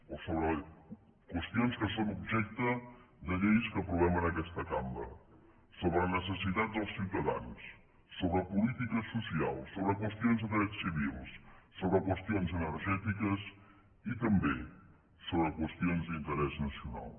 o sobre qüestions que són objecte de lleis que aprovem en aquesta cambra sobre necessitats dels ciutadans sobre polítiques socials sobre qüestions de drets civils sobre qüestions energètiques i també sobre qüestions d’interès nacional